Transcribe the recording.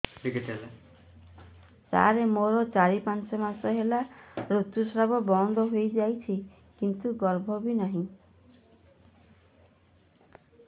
ସାର ମୋର ଚାରି ପାଞ୍ଚ ମାସ ହେଲା ଋତୁସ୍ରାବ ବନ୍ଦ ହେଇଯାଇଛି କିନ୍ତୁ ଗର୍ଭ ବି ନାହିଁ